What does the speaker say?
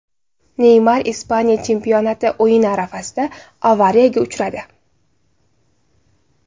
Neymar Ispaniya chempionati o‘yini arafasida avariyaga uchradi.